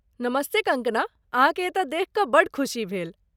नमस्ते कंगकना, अहाँकेँ एतय देखि कऽ बड्ड खुशी भेल ।